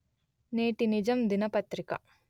నేటి నిజం దినపత్రిక